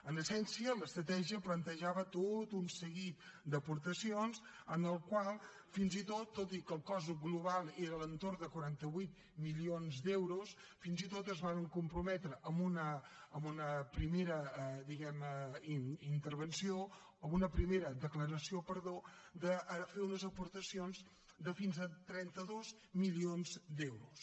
en essència l’estratègia plantejava tot un seguit d’aportacions en el qual fins i tot tot i que el cost global era a l’entorn de quaranta vuit milions d’euros fins i tot es varen comprometre amb una primera diguem ne declaració de fer unes aportacions de fins a trenta dos milions d’euros